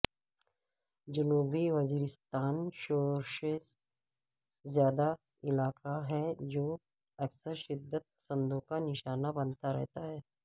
جنوبی وزیرستان شورش زدہ علاقہ ہے جو اکثر شدت پسندوں کا نشانہ بنتا رہتا ہے